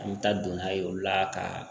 An bɛ taa don n'a ye o la ka